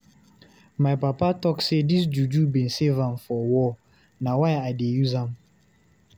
My papa talk sey dis juju bin save am for war, na why I dey use am.